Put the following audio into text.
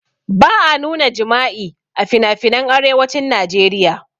Ba a nuna jima'i a finafinan arewacin najeriya